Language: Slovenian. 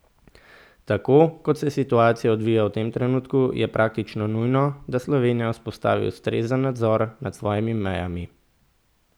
Tako, kot se situacija odvija v tem trenutku, je praktično nujno, da Slovenija vzpostavi ustrezen nadzor nad svojimi mejami.